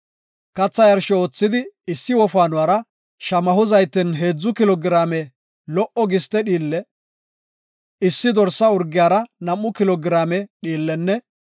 Katha yarsho oothidi issi wofaanora shamaho zayten heedzu kilo giraame lo77o giste dhiille, issi dorsa urgiyara nam7u kilo giraame dhiillenne